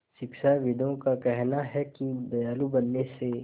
शिक्षाविदों का कहना है कि दयालु बनने से